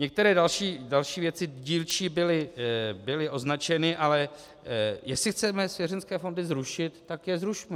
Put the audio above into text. Některé další věci dílčí byly označeny, ale jestli chceme svěřenecké fondy zrušit, tak je zrušme.